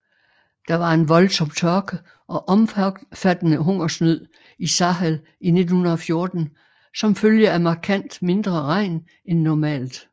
Der var en voldsom tørke og omfattende hungersnød i Sahel i 1914 som følge af markant mindre regn end normalt